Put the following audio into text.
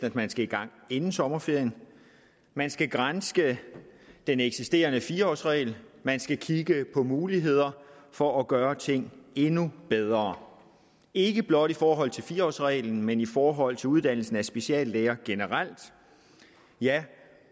at man skal i gang inden sommerferien man skal granske den eksisterende fire årsregel man skal kigge på muligheder for at gøre tingene endnu bedre ikke blot i forhold til fire årsreglen men også i forhold til uddannelsen af speciallæger generelt